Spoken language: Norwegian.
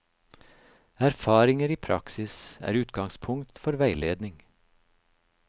Erfaringer i praksis er utgangspunkt for veiledning.